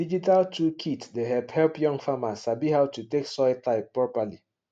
digital tool kit dey help help young farmers sabi how to take soil type properly